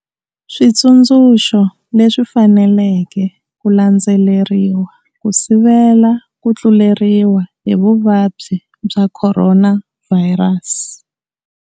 Switsundzuxo leswi faneleke ku landzeleriwa ku sivela ku tluleriwa hi vuvabyi bya Khoronavhayirasi.